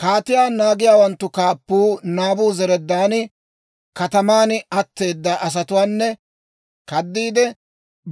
Kaatiyaa naagiyaawanttu kaappuu Naabuzaradaani kataman atteeda asatuwaanne kaddiide